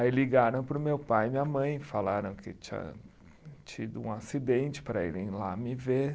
Aí ligaram para o meu pai e minha mãe, falaram que tinha tido um acidente para irem lá me ver.